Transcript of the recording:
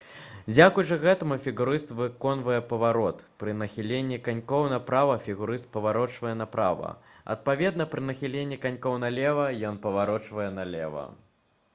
дзякуючы гэтаму фігурыст выконвае паварот пры нахіленні канькоў направа фігурыст паварочвае направа адпаведна пры нахіленні канькоў налева ён паварочвае налева